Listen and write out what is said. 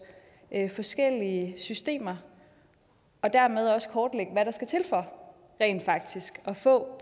forskellige systemer og dermed også kortlægge hvad der skal til for rent faktisk at få